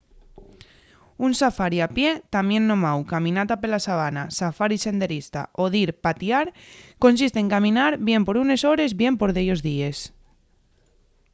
un safari a pie tamién nomáu caminata pela sabana” safari senderista” o dir patiar” consiste en caminar bien por unes hores bien por dellos díes